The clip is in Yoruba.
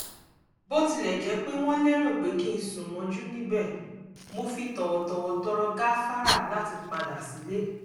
bó tilẹ̀ jẹ́ pé wọ́n lérò pé kí n sùn mọ́jú níbẹ̀ mo fi tọ̀wọ̀tọ̀wọ̀ tọrọ gáfárà láti padà sílé